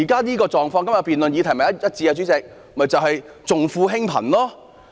這狀況與現時辯論的議題正好一致，主席，就是重富輕貧。